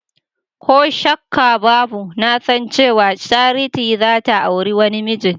Koh shakkabbabu nasan cewa Charity zata auri wani mijin.